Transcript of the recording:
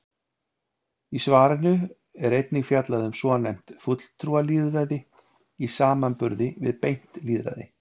Í svarinu er einnig fjallað um svonefnt fulltrúalýðræði í samanburði við beint lýðræði.